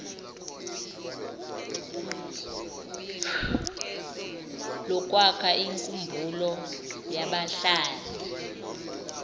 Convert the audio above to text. lokwakha inkumbulo yabahlali